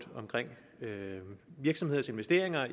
med virksomheders investeringer